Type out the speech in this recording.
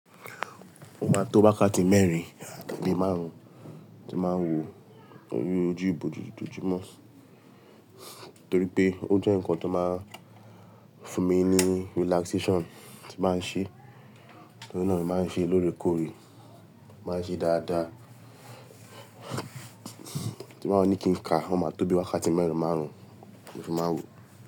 O ma tó wákàtí mẹ́rin tabi márùn-ún tí màá wo ojú ìbòjú tó jọjú mọ́, torí pé ó jẹ́ ǹkan tó máa fún mi ní relaxation tí baa n ṣe, to ri náà ni màá n ṣe lórekòrè, màá n ṣe dáadáa tí n bàá ní kí n ka, o máa tó wákàtí mẹ́rin márùn-ún mo fi máa wò.